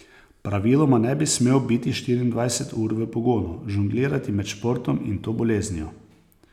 Praviloma ne bi smel biti štiriindvajset ur v pogonu, žonglirati med športom in to boleznijo.